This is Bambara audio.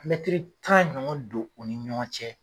Mɛtiri tan ɲɔgɔn don u ni ɲɔgɔn cɛ.